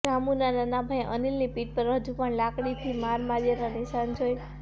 રામુના નાના ભાઈ અનિલની પીઠ પર હજુ પણ લાકડીથી માર માર્યાનાં નિશાન જોઈ